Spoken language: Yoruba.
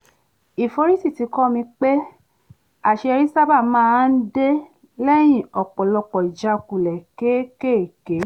ìforítì ti kọ́ mi pé àṣeyọrí sábà máa ń dé lẹ́yìn ọ̀pọ̀lọpọ̀ ìjákulẹ̀ kéékèèké